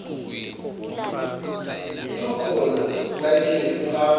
usukhona sayitsheni kuhamba